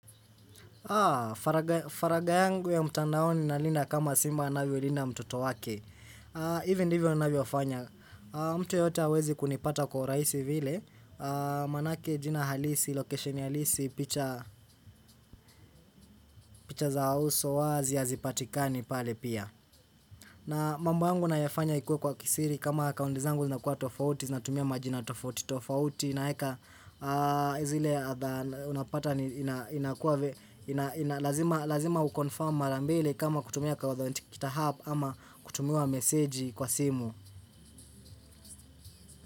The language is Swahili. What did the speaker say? Haa, faraga yangu ya mtandaoni nalinda kama simba anavyo linda mtoto wake. Hivo ndivyo ninavyofanya, mtu yoyote hawezi kunipata kwa rahisi vile, manake jina halisi, location halisi, picha za uso, wazi, hazipatikani pale pia. Na mambo yangu nayafanya ikuwe kwa kisiri kama akaunti zangu zinakuwa tofauti, zinatumia majina tofauti, tofauti naeka zile unapata inakua lazima ukonfarm mara mbili kama kutumia kwa kutumia nchikita app ama kutumia meseji kwa simu.